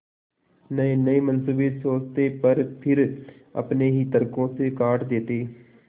नयेनये मनसूबे सोचते पर फिर अपने ही तर्को से काट देते